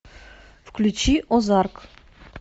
включи озарк